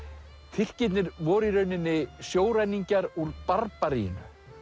Tyrkirnir voru í rauninni sjóræningjar úr Barbaríu